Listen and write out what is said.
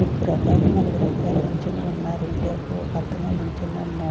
ముగ్గురు అబ్బాయిలు నలుగురు అబ్బాయిలు నుంచొని ఉన్నారు ఇటు వైపు ఒక అతను నుంచొని ఉన్నా--